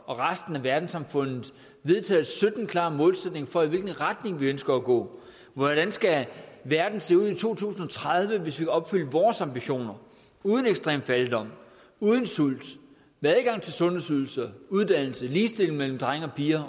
og resten af verdenssamfundet vedtaget sytten klare målsætninger for i hvilken retning vi ønsker at gå hvordan skal verden se ud i to tusind og tredive hvis vi opfyldte vores ambitioner uden ekstrem fattigdom uden sult med adgang til sundhedsydelser uddannelse ligestilling mellem drenge og piger